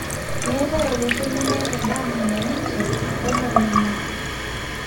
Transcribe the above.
meetae olosho lemeeta endaa nanya ninche wo nemenya